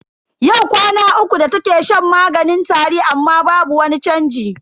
Yau kwana uku da take shan maganin tari amma babu wani chanji.